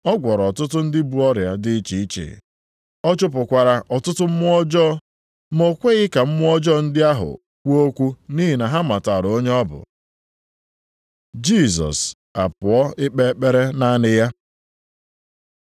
Ọ gwọrọ ọtụtụ ndị bu ọrịa dị iche iche, ọ chụpụkwara ọtụtụ mmụọ ọjọọ ma o kweghị ka mmụọ ọjọọ ndị ahụ kwuo okwu nʼihi na ha matara onye ọ bụ. Jisọs apụọ ikpe ekpere naanị ya